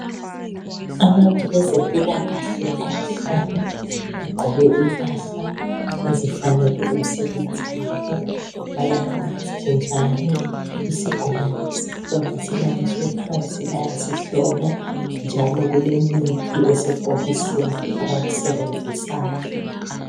Abantu bezempilakahle abahlanu bagqoke impahla ezifanele umsebenzi wabo, balamamask njalo. Isigulane sikhona silaliswe phansi bayasihlola njalo kulemithi esebhokisini abayisebenzisayo.